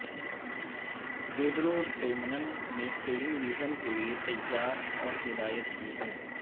Pedro ڈیمنن نے television کے لئے تیار اور ہدایت کی ہے